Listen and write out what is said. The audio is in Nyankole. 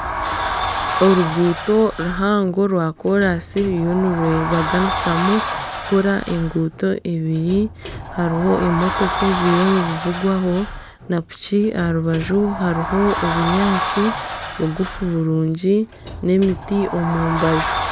Oruguuto ruhango rwa koransi ruriyo nirwebaganisamu kukora enguuto ibiri hariho emotoka eziriyo nizivugwaho na piki aha rubaju hariho obunyaatsi bugufu burungi n'emiti omu mbaju.